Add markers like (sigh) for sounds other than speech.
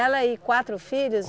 e quatro filhos? (unintelligible)